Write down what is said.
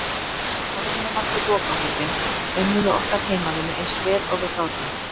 Áður en ég valdi lokahópinn, unnum við okkar heimavinnu eins vel og við gátum.